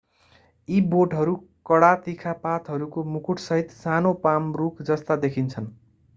यी बोटहरू कडा तिखा पातहरूको मुकुटसहित सानो पाम रूख जस्ता देखिन्छन्